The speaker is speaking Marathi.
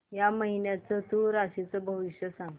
या महिन्याचं तूळ राशीचं भविष्य सांग